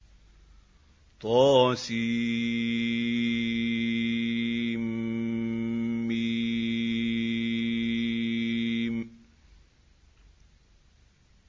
طسم